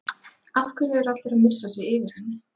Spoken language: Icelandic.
Af hverju er allir að missa sig yfir henni?